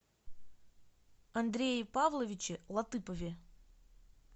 андрее павловиче латыпове